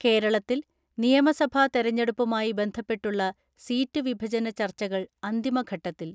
കേരളത്തിൽ നിയമസഭാ തെരഞ്ഞെടുപ്പുമായി ബന്ധപ്പെട്ടുള്ള സീറ്റു വിഭജന ചർച്ചകൾ അന്തിമഘട്ടത്തിൽ.